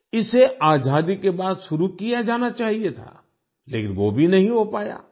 इसे आजादी के बाद शुरू किया जाना चाहिए था लेकिन वो भी नहीं हो पाया